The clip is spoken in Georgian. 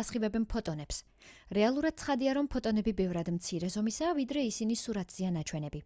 ასხივებენ ფოტონებს რეალურად ცხადია რომ ფოტონები ბევრად მცირე ზომისაა ვიდრე ისინი სურათზეა ნაჩვენები